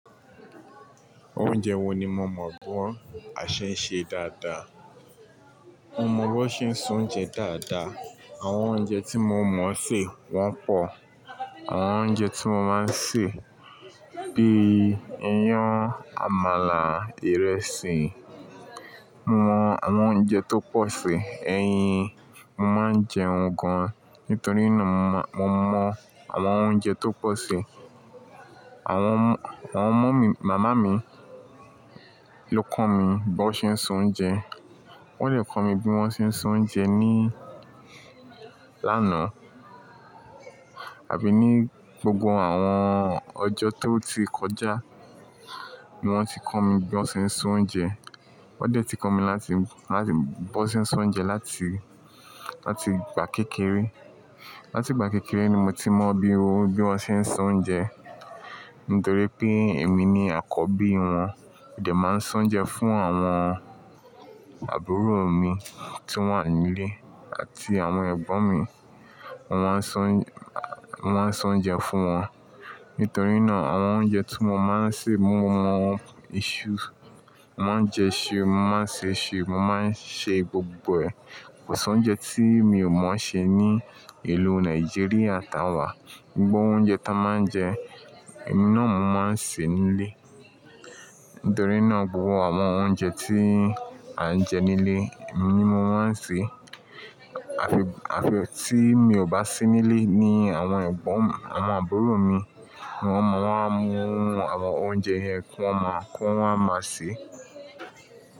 Oúnjẹ wo ni mo mọ̀ bi a ṣe ń ṣe dáadáa? Mo mọ bó ṣe ń se oúnjẹ dáadáa. Àwọn oúnjẹ tí mo mọ̀ ṣè wọ́n pọ̀. Àwọn oúnjẹ tí mo máa ń ṣè bíi iyán, àmàlà, ìrẹsì. Mo mọ àwọn oúnjẹ tó pọ̀ ṣè, eyin mo máa ń jeun gan. Nítorí náà mo mọ àwọn oúnjẹ tó pọ̀ ṣè. Àwọn mummy màmá mi ló kọ́ mi bó ṣe ń so oúnjẹ. Wọ́n dẹ̀ kọ́ mi bí wọ́n ṣe ń so oúnjẹ ní lánàá àbí ní gbogbo àwọn ọjọ́ tó ti kọjá ni wọ́n ti kọ́ mi bí wọ́n ṣe ń so oúnjẹ. Wọ́n dẹ̀ ti kọ́ mi láti, láti bó ṣe ń so oúnjẹ láti, láti ìgbà kékeré. Láti ìgbà kékeré ni mo ti mọ bí, bí wọ́n ṣe ń so oúnjẹ nítorí pé èmi ni àkọ́bí wọn. Mo dè máa ń soúnjẹ fún àwọn àbúrò mi tí wọ́n wà nílé àti àwọn ẹ̀gbọ́n mi. Mo máa ń se, mo máa ń soúnjẹ fún wọn. Nítorí náà àwọn oúnjẹ tí mo máa ń ṣè mo mọ̀ wọ́n. Iṣu, mo máa ń jẹ iṣu, mo máa ń ṣe iṣu, mo máa ń ṣe gbogbo ẹ̀. Kò sí oúnjẹ tí mi ò mọ̀ ṣè ní ìlú Nàìjíríà táa wà. Gbogbo oúnjẹ táa máa ń jẹ, emi náà mó máa ń ṣè nílé. Nítorí náà gbogbo àwọn oúnjẹ tí à ń jẹ nílé emi ni mo máa ń ṣè. Àfi, àfi tí mi ò bá sí nílé ní àwọn ẹ̀gbọ́n, àwọn àbúrò mi ni wọ́n máa ń mú àwọn oúnjẹ yẹn kí wọ́n máa, kí wọ́n máa ṣe.